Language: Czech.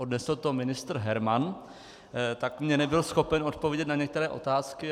Odnesl to ministr Herman, tak mi nebyl schopen odpovědět na některé otázky.